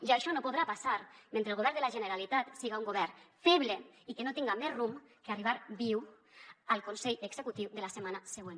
i això no podrà passar mentre el govern de la generalitat siga un govern feble i que no tinga més rumb que arribar viu al consell executiu de la setmana següent